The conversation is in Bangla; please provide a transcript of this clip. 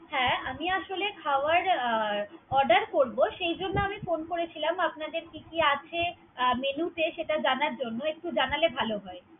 হ্যা আমি আসলে খাবার order করব। সেই জন্য আমি phone করছিলাম। আপনাদের কি কি আছে অ menu তে সেটা জানার জন্য। একটু জানালে ভালো হয়।